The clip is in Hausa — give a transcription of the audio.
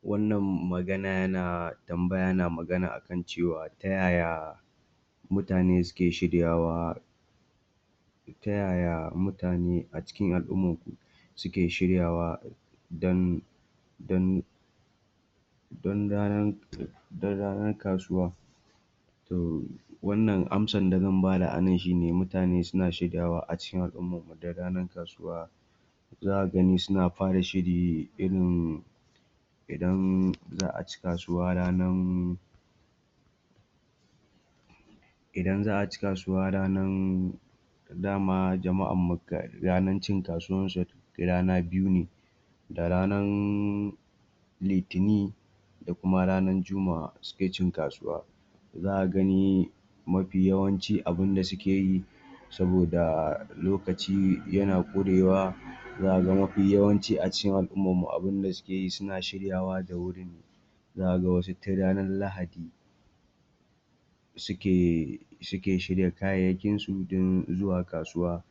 Wannan magana yana tambaya yana magana akan cewa ta yaya mutane suke shiryawa ta yaya mutane a cikin al'ummar mu suke shiryawa don don don ranan, don ranan kasuwa? To wannan ansar da zan bada anan shuine mutane suna shiryawa a cikin al'ummarmu don ranar kasuwa zaka gani suna fara shiri irin idan za'a ci kasuwa ranan idan za a ci kasuwa ranan dama jama'anmu ranar cin kasuwansu rana biyu ne, da ranan litini, da kuma ranar jumma'a suke cin kasuwa. Zaka gani mafi yawanci abin da suke yi saboda lokaci yana ƙurewa za ka ga mafi yawanci a cikin al'ummarmu abinda suke yi, suna shiryawa da wuri, za ka ga wasu tun ranar lahadi suke, suke shirya kayansu don zuwa kasuwa